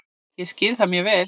Ég skil það mjög vel